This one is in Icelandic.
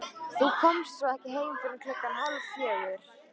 Þú komst svo ekki heim fyrr en klukkan hálffjögur.